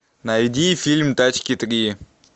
найди фильм тачки три